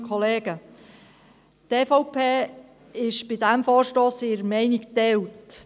Zu diesem Vorstoss ist die Meinung der EVP geteilt.